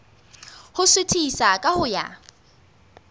ho suthisa ka ho ya